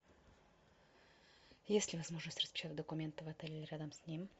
есть ли возможность распечатать документы в отеле или рядом с ним